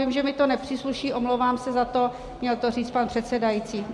Vím, že mi to nepřísluší, omlouvám se za to, měl to říct pan předsedající.